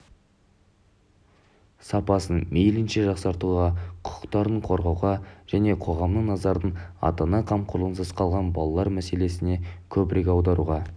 сапасын мейлінше жақсартуға құқықтарын қорғауға және қоғамның назарын ата-ана қамқорлығынсыз қалған балалар мәселелеріне көбірек аударуға